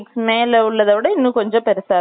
அ இன்னும் கொஞ்சம் பெருசாவே இருக்கும் அது